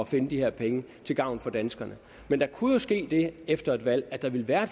finde de her penge til gavn for danskerne men der kunne jo ske det efter et valg at der ville være